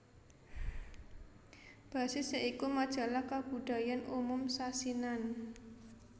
Basis ya iku majalah kabudayan umum sasinan